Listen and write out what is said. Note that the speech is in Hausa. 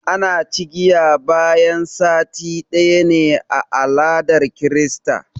ana kaciya bayan sati ɗaya ne a aladar krista